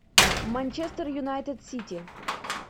манчестер юнайтед сити